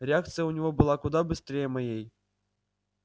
реакция у него была куда быстрее моей